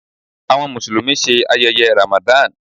Awọn Musulumi ṣe ayẹyẹ Ramadan